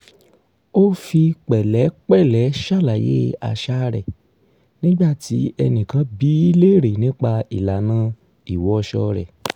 ó fi pẹ̀lẹ́pẹ̀lẹ́ ṣàlàyé àṣà rẹ̀ nígbà tí ẹnìkan bi í léèrè nipa ìlànà ìwọṣọ rẹ̀